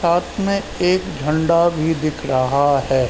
साथ में एक झण्डा भी दिख रहा है।